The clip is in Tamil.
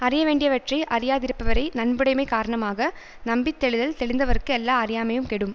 அறியவேண்டியவற்றை அறியாதிருப்பவரை நன்புடைமை காரணமாக நம்பித்தெளிதல் தெளிந்தவர்க்கு எல்லா அறியாமையும் கெடும்